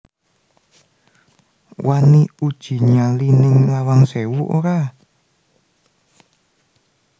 Wani uji nyali ning Lawang Sewu ora